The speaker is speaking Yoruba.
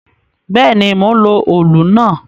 Bẹ́ẹ̀ ni, mò ń lo òlù náà.